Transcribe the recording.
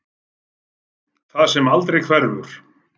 Það sem aldrei hverfur.